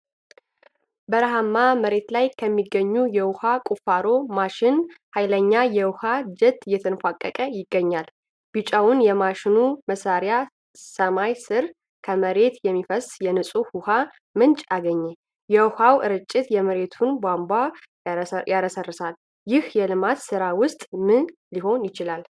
በረሃማ መሬት ላይ ከሚገኝ የውኃ ቁፋሮ ማሽን ኃይለኛ የውኃ ጄት እየተንፏቀቀ ይገኛል። ቢጫማው የማሽኑ መሳሪያ ሰማይ ስር ከመሬት የሚፈስ የንፁህ ውሃ ምንጭ አገኘ። የውሃው ርጭት የመሬቱን አቧራ ያረሰርሳል። ይህ የልማት ስራ ውጤት ምን ሊሆን ይችላል?